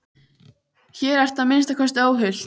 Hér ertu að minnsta kosti óhult.